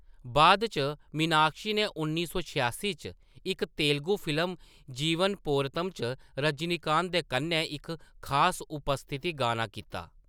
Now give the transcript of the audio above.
बाद च, मीनाक्षी ने उन्नी सौ छेआसी च इक तेलुगु फिल्म, जीवन पोरतम च रजनीकांत दे कन्नै इक खास उपस्थिति गाना कीता।